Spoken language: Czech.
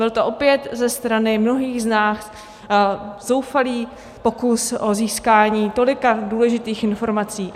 Byl to opět ze strany mnohých z nás zoufalý pokus o získání tolika důležitých informací.